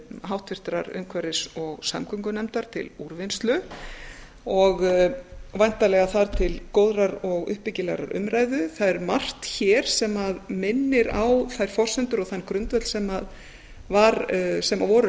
háttvirtrar umhverfis og samgöngunefndar til úrvinnslu og væntanlega þar til góðrar og uppbyggilegrar umræðu það er margt hér sem minnir á þær forsendur og þann grundvöll sem voru